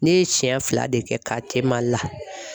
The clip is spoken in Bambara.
Ne ye siɲɛ fila de kɛ Mali la.